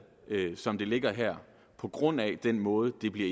som det ligger her på grund af den måde det bliver